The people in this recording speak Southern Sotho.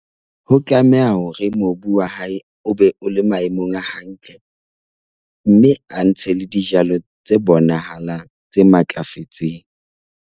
Ho tlameha hore mobu wa hae o be o le maemong a hantle mme a ntshe le dijalo tse bonahalang, tse matlafetseng.